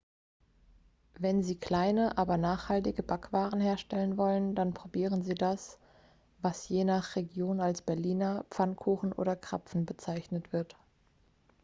wenn sie kleine aber reichhaltige backwaren herstellen wollen dann probieren sie das was je nach region als berliner pfannkuchen oder krapfen bezeichnet wird